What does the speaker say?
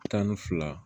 Tan ni fila